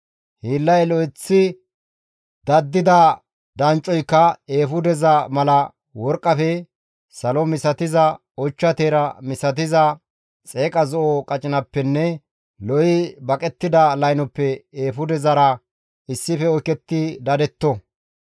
Hiillay lo7eththidi daddida danccoyka eefudeza mala worqqafe, salo misatiza ochcha teera misatizaa, xeeqa zo7o qacinappenne lo7i baqettida laynoppe eefudezara issife oyketti dadetto.